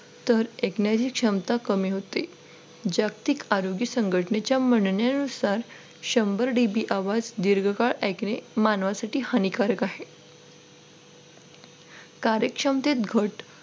तर ऐकण्याची क्षमता कमी होते जागतिक आरोग्य संघटनेच्या म्हणण्यानुसार शंभर D. B आवाज दीर्घकाळ ऐकणे मानवासाठी हानिकारक आहे कार्यक्षमतेत घट